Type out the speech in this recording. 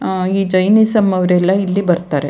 ಆಹ್ಹ್ ಈ ಜೈನಿಸಂ ಅವ್ರೆಲ್ಲ ಇಲ್ಲಿ ಬರ್ತಾರೆ.